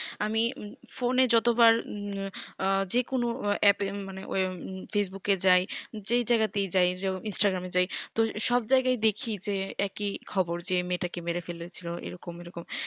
আমি ফোন এ যতবার আঃ যেকোনো app এ মানে facebook এ যাই যেই জাগাতেই যাই যেমন instagram এ যাই তো সব জায়গায় দেখি যে একই খবর যে মেয়ে টাকে মেরে ফেলেছিলো এই রকম এই রকম